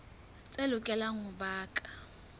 tse lokelang ho ba ka